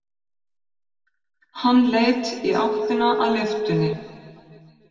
Hann leit í áttina að lyftunni.